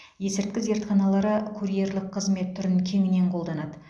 есірткі зертханалары курьерлік қызмет түрін кеңінен қолданады